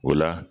O la